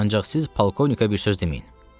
Ancaq siz polkovnika bir söz deməyin.